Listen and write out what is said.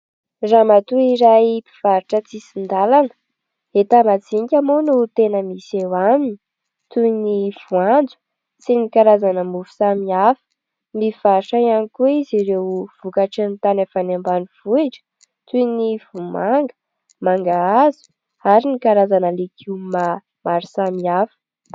Ramatoa iray mpivarotra an-tsisin-dalana. Enta-majinika moa no tena misy eo aminy toy ny voanjo sy ny karazana mofo samihafa. Mivarotra ihany koa izy ireo vokatran'ny tany avy any ambanivohitra toy ny vomanga, mangahazo ary ny karazana legioma maro samihafa.